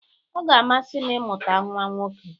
Ọ ga-amasị m imụta nwa nwoke.